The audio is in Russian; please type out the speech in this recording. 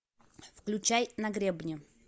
включай на гребне